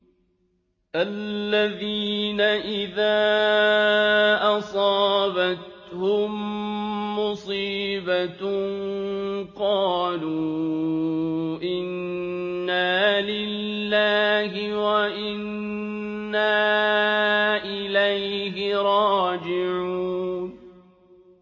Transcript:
الَّذِينَ إِذَا أَصَابَتْهُم مُّصِيبَةٌ قَالُوا إِنَّا لِلَّهِ وَإِنَّا إِلَيْهِ رَاجِعُونَ